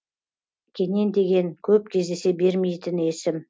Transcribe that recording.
кенен деген көп кездесе бермейтін есім